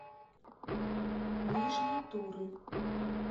нижней туры